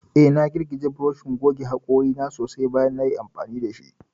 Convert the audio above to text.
Eh, na girgije burushin goge hakori na sosai bayan nayi amfani dashi.